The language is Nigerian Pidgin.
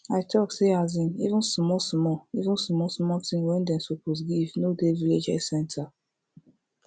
i talk say asin even small small even small small thing wey dem suppose give no dey village health center